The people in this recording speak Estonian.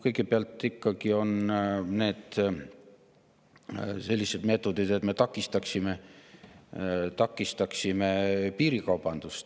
Kõigepealt on selliseid meetodeid, et takistada piirikaubandust.